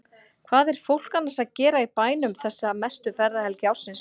Hvað er fólk annars að gera í bænum þessa mestu ferðahelgi ársins?